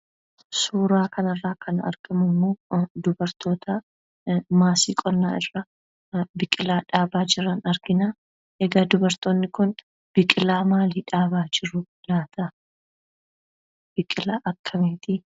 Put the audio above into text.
Suuraa kanarraa kan argamu immoo dubartoota maasii qonnaa irra biqilaa dhaabaa jiran argina. Egaa dubartoonni kun biqilaa maalii dhaabaa jiru laataa? biqilaa akkamiitii?